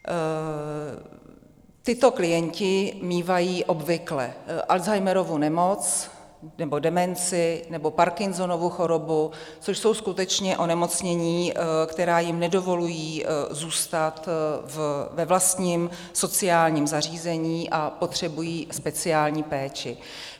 Tito klienti mívají obvykle Alzheimerovu nemoc, nebo demenci, nebo Parkinsonovu chorobu, což jsou skutečně onemocnění, která jim nedovolují zůstat ve vlastním sociálním zařízení, a potřebují speciální péči.